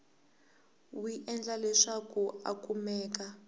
wi endla leswaku a kumeka